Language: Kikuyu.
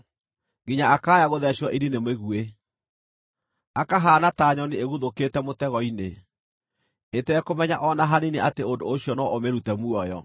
nginya akaaya gũtheecwo ini nĩ mĩguĩ, akahaana ta nyoni ĩguthũkĩte mũtego-inĩ, ĩtekũmenya o na hanini atĩ ũndũ ũcio no ũmĩrute muoyo.